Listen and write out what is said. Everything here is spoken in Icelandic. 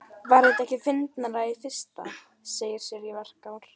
Var það ekki fyndnara í fyrra, segir Sirrý, varkár.